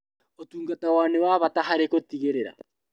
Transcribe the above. Ũtungata wao nĩ wa bata harĩ gũtigĩrĩra